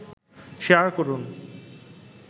share করুন